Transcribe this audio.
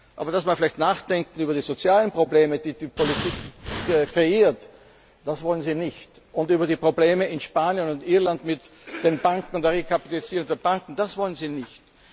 Aber dass wir vielleicht nachdenken über die sozialen Probleme, die die Politik kreiert, das wollen sie nicht, und über die Probleme in Spanien und Irland mit den Banken und der Rekapitalisierung der Banken, das wollen sie nicht.